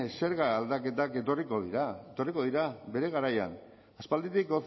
zerga aldaketak etorriko dira etorriko dira bere garaian aspalditik